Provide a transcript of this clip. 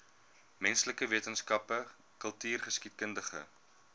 menslike wetenskappe kultureelgeskiedkundige